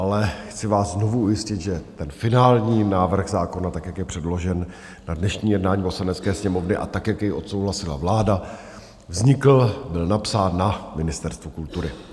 Ale chci vás znovu ujistit, že ten finální návrh zákona, tak jak je předložen na dnešní jednání Poslanecké sněmovny a tak jak jej odsouhlasila vláda, vznikl, byl napsán na Ministerstvu kultury.